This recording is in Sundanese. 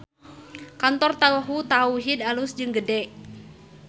Kantor Tahu Tauhid alus jeung gede